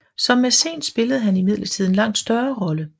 Som mæcen spillede han imidlertid en langt større rolle